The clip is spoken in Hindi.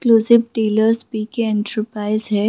Exclusive dealer PK. एंटरप्राइज है।